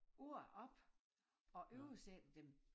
Ord op og oversætter dem